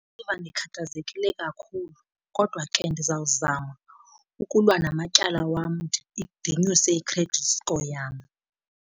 Ndiziva ndikhathazekile kakhulu kodwa ke ndizawuzama ukulwa namatyala wam ndinyuse i-credit score yam.